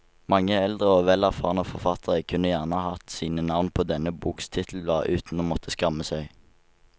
Mange eldre og vel erfarne forfattere kunne gjerne hatt sine navn på denne boks titelblad uten å måtte skamme seg.